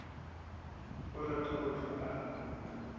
a rata go hlwa a